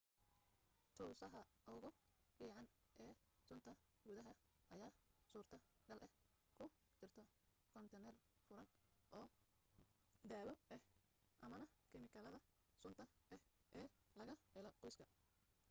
tusaha ugu fiican ee sunta gudaha ayaa suurto gal ah ku jirto koontiinar furan oo daawo ah amma kimikaalada sunta ah ee laga helo qoyska